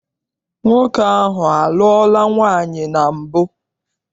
Nwoke ahụ a lụọla nwaanyị na mbụ?